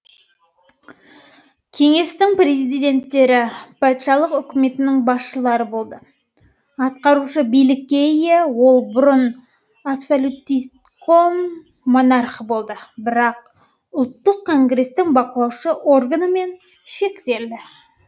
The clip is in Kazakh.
кеңестің президенттері патшалық үкіметінің басшылары болды атқарушы билікке ие ол бұрын абсолютистском монархы болды бірақ ұлттық конгрестің бақылаушы органымен шектелді